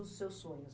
Os seus sonhos?